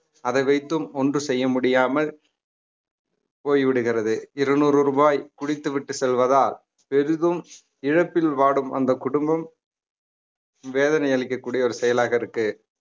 அதை வைத்தும் ஒன்றும் செய்ய முடியாமல் போய்விடுகிறது இருநூறு ரூபாய் குடித்துவிட்டு செல்வதால் பெரிதும் இழப்பில் வாடும் அந்த குடும்பம் வேதனை அளிக்கக்கூடிய ஒரு செயலாக இருக்கு